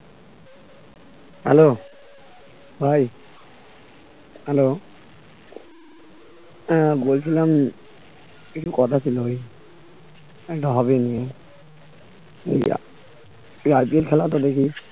hello ভাই hello আহ বলছিলাম কিছু কথা ছিল ভাই একটা hobby নিয়ে তুই তুই IPL খেলাটা দেখিস